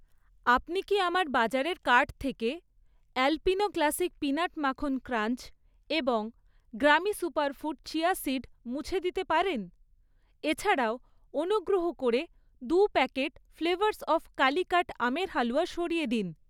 আপনি কি আমার বাজারের কার্ট থেকে অ্যালপিনো ক্লাসিক পিনাট মাখন ক্রাঞ্চ এবং গ্রামি সুপারফুড চিয়া সীড মুছে দিতে পারেন? এছাড়াও, অনুগ্রহ করে দু প্যাকেট ফ্লেভারস অফ কালিকাট আমের হালুয়া সরিয়ে দিন।